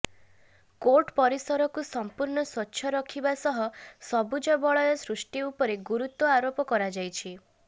court ପରିସରକୁ ସଂପୂର୍ଣ୍ଣ ସ୍ୱଚ୍ଛ ରଖିବା ସହ ସବୁଜ ବଳୟ ସୃଷ୍ଟି ଉପରେ ଗୁରୁତ୍ୱ ଆରୋପ କରାଯାଇଛି